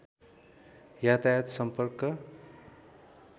यातायात सम्पर्क